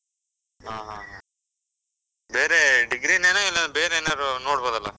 ಆ ಹಾ ಹ ಬೇರೆ degree ನೇನಾ, ಇಲ್ಲ ಬೇರೇನಾದ್ರೂ ನೋಡ್ಬೋದಲ್ಲ?